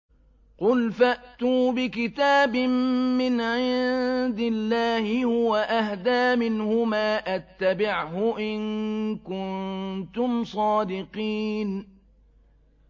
قُلْ فَأْتُوا بِكِتَابٍ مِّنْ عِندِ اللَّهِ هُوَ أَهْدَىٰ مِنْهُمَا أَتَّبِعْهُ إِن كُنتُمْ صَادِقِينَ